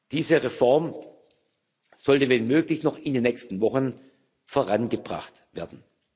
Diese Reform sollte, wenn möglich, noch in den nächsten Wochen vorangebracht werden.